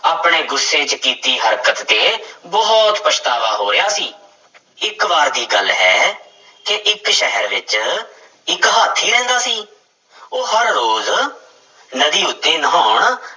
ਆਪਣੇ ਗੁੱਸੇ ਚ ਕੀਤੀ ਹਰਕਤ ਤੇ ਬਹੁਤ ਪਛਤਾਵਾ ਹੋ ਰਿਹਾ ਸੀ ਇੱਕ ਵਾਰ ਦੀ ਗੱਲ ਹੈ ਕਿ ਇੱਕ ਸ਼ਹਿਰ ਵਿੱਚ ਇੱਕ ਹਾਥੀ ਰਹਿੰਦਾ ਸੀ, ਉਹ ਹਰ ਰੋਜ਼ ਨਦੀ ਉੱਤੇ ਨਹਾਉਣ